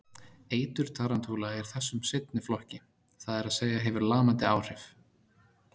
Eitur tarantúla er þessum seinni flokki, það er að segja hefur lamandi áhrif.